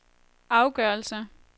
afgørelse